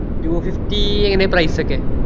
two fifty എങ്ങനയാ price ഒക്കെ